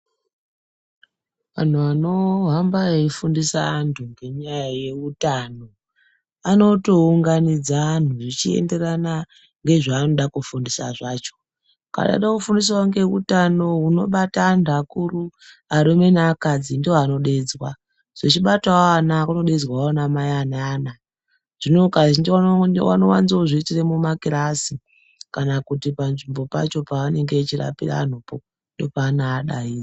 Antu anohamba eifundiswa antu ngenyaya yeutano anotounganidza antu zvichienderana ngezvavanoda kufundisa zvacho. Kana veida kufundiswa ngezveutano hunobata antu akuru arume neakadzi ndovanodeedzwa. Zvichibatawo ana kunodeedzwawo anamai ane ana. Zvino Kazhinji vanowanzozviitire mumakirasi kana kuti panzvimbo pacho pavanenge vachirapira vanhupo ndopavanovadaidza.